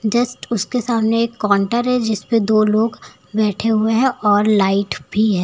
Just उसके सामने एक काउंटर है जिस पे दो लोग बैठे हुए हैं और लाइट भी है।